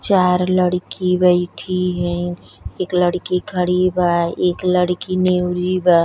चार लड़की बैठी है। एक लड़की खड़ी बा। एक लड़की बा --